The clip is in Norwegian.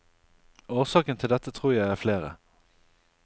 Årsaken til dette tror jeg er flere.